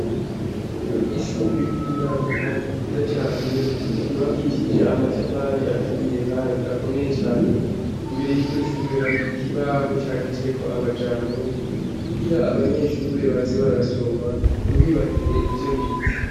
Ishure ry'uburaro, kandi ryiza cane ryubakishije amatafari aturiye, kandi akomeye cane imbere y'iryo shure hari ikibaho candiceko amajambo kugira abanyeshure baze barasoma ntibibagire ivyo bize.